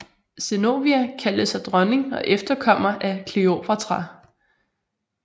Zenobia kaldte sig dronning og efterkommer af Kleopatra